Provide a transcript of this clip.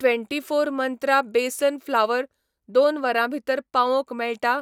Twenty four Mantra besan flour दोन वरां भितर पावोवंक मेळटा?